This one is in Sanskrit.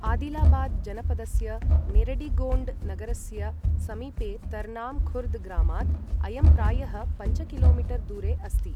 आदिलाबाद जनपदस्य नेरडिगोण्ड नगरस्य समीपे तर्नाम् खुर्द् ग्रामात् अयं प्रायः पञ्च किलो मीटर् दूरे अस्ति।